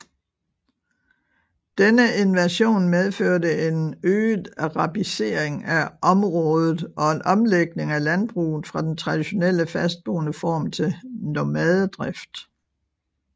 Denne invasion medførte en øget arabisering af området og en omlægning af landbruget fra den traditionelle fastboende form til nomadedrift